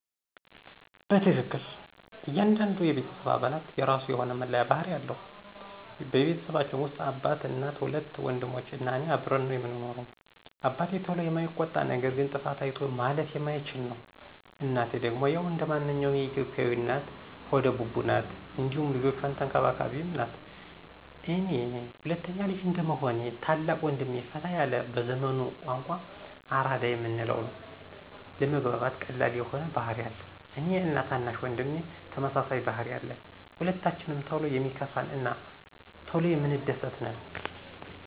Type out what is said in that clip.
በትክክል ! እያንዳንዱ የቤተሰብ አባላት የራሱ የሆነ መለያ ባህሪ አለው። በቤተሰባችን ውስጥ አባት፣ እናት፣ ሁለት ወንድሞች እና እኔ አብረን ነው ምንኖረው። አባቴ ቶሎ የማይቆጣ ነገር ግን ጥፋት አይቶ ማለፍ የማይችል ነው፤ እናቴ ደግሞ ያው እንደማንኛውም የኢትዮጲያ እናት ሆደ ቡቡ ናት እንዲሁም ልጆቿን ተንከባካቢም ናት፤ እኔ ሁለተኛ ልጅ እንደመሆኔ ታላቅ ወንድሜ ፈታ ያለ በዘመኑ ቋንቋ አራዳ የምንለው ነው። ለመግባባት ቀላል የሆነ ባህሪ አለው፤ እኔ እና ታናሽ ወንድሜ ተመሳሳይ ባህሪ አለን። ሁለታችንም ቶሎ የሚከፋን እና ቶሎ የምንደስት ነን።